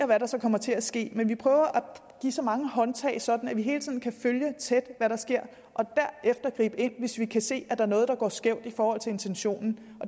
hvad der så kommer til at ske men vi prøver at give så mange håndtag sådan at vi hele tiden kan følge tæt hvad der sker og derefter gribe ind hvis vi kan se at der er noget der går skævt i forhold til intentionen